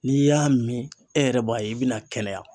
N'i y'a min e yɛrɛ b'a ye i bɛna kɛnɛya.